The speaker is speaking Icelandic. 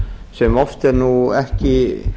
sem oft er nú ekki